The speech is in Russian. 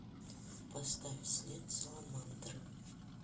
поставь след саламандры